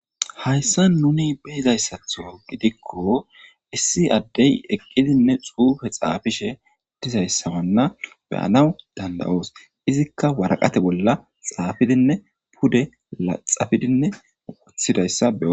hayssa nuni behizayssatho gidikko issi addey eqqidinne xuufe xaafishe dizayssamanna beyanawu danda7oos izikka waraqate bolla xaafidinne pude laxafidinne wothidayssa beo